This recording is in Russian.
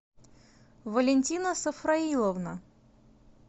валентина сафраиловна